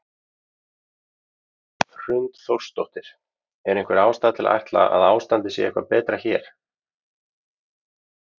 Hrund Þórsdóttir: Er einhver ástæða til að ætla að ástandið sé eitthvað betra hér?